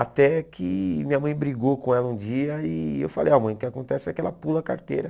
Até que minha mãe brigou com ela um dia e eu falei, ah mãe, o que acontece é que ela pula a carteira.